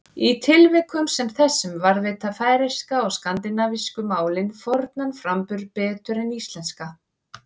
Í tilvikum sem þessum varðveita færeyska og skandinavísku málin fornan framburð betur en íslenska.